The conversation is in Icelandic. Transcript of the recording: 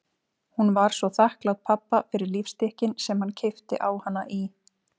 Hún var svo þakklát pabba fyrir lífstykkin sem hann keypti á hana í